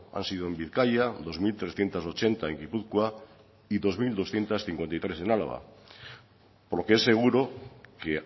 han sido en bizkaia dos mil trescientos ochenta en gipuzkoa y dos mil doscientos cincuenta y tres en araba lo que es seguro que